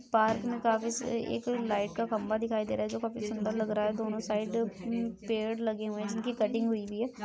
Park में कफ से एक लाईट का खंबा दिखाई दे रहा है जो काफी सुंदर लग रहा है दोनो साइड पेड़ लगे हुए है जिनकी कटिंग हुई है ।